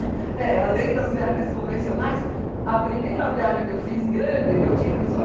É, além das viagens convencionais, a primeira viagem que eu fiz grande, eu tinha